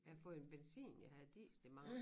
Jeg har fået en benzin jeg havde diesel i mange år